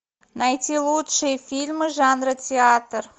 найти лучшие фильмы жанра театр